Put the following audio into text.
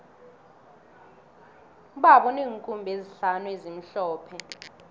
ubaba uneenkhumbi ezihlanu ezimhlophe